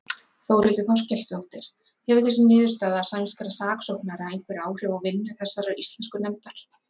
Þórhildur Þorkelsdóttir: Hefur þessi niðurstaða sænskra saksóknara einhver áhrif á vinnu þessarar íslensku nefndar?